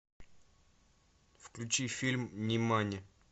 включи фильм нимани